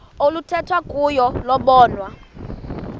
oluthethwa kuyo lobonwa